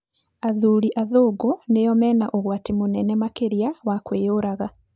Athuri athúngũ nĩo mena ũgwati mũnene makĩria wa kwĩyũraga.